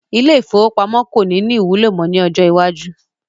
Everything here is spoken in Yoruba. Ilé ìfowópamó kò ní ní ìwúlò mọ ni ọjọ́ iwájú